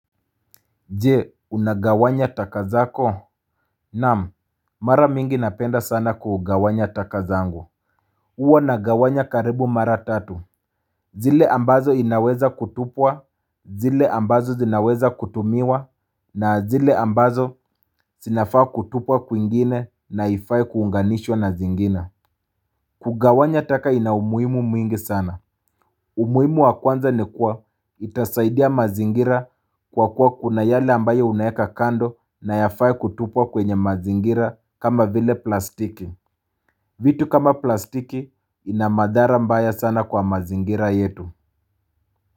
Je, unagawanya taka zako? Naam, mara mingi napenda sana kugawanya taka zangu. Uwa nagawanya karibu mara tatu. Zile ambazo inaweza kutupwa, zile ambazo zinaweza kutumiwa, na zile ambazo sinafaa kutupwa kwingine na haifai kuunganishwa na zingine. Kugawanya taka ina umuhimu mwingi sana. Umuhimu wa kwanza ni kuwa itasaidia mazingira kwa kuwa kuna yale ambayo unaeka kando na yafai kutupwa kwenye mazingira kama vile plastiki. Vitu kama plastiki inamadhara mbaya sana kwa mazingira yetu.